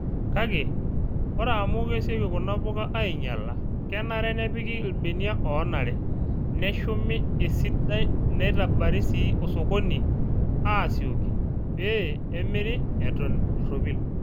Kake, ore amu kesioki kuna puka ainyala, kenare nepiki ilbenia oonare, neshumi esidai neitabari sii osokoni aasoiki pee emiri eton erropil.